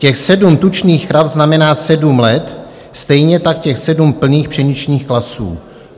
Těch sedm tučných krav znamená sedm let, stejně tak těch sedm plných pšeničných klasů.